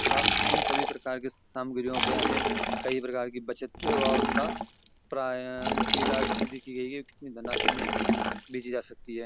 था उन सभी प्रकार के सामग्रियों पे हमे कई प्रकार की बचत वा उनका प्रायः उनकी राशि लिखी गई है कितनी धन राशि मे बेची जा सकती है।